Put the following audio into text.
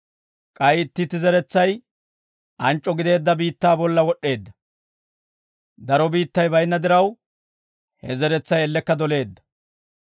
K'ay itti itti zeretsay anc'c'o gideedda biittaa bolla wod'd'eedda; daro biittay baynna diraw, he zeretsay ellekka doleedda.